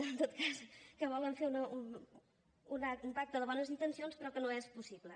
en tot cas que volen fer un pacte de bones intencions però que no és possible